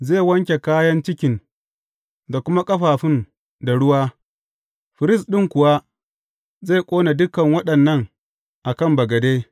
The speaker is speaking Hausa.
Zai wanke kayan cikin da kuma ƙafafun da ruwa, firist ɗin kuwa zai ƙone dukan waɗannan a kan bagade.